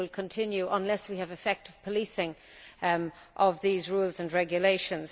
They will continue unless we have effective policing of these rules and regulations.